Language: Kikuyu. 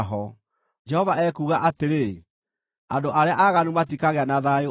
Jehova ekuuga atĩrĩ, “Andũ arĩa aaganu matikagĩa na thayũ o na rĩ.”